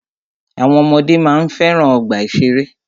Àwọn ọmọdé máa ń fẹ́ràn ọgbà ìṣẹ̀rẹ́.